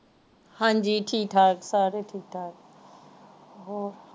ਹਾਂਜੀ ਠੀਕ ਠਾਕ ਸਾਰੇ ਠੀਕ ਠਾਕ